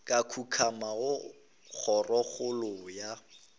ka kukamo go kgorokgolo ya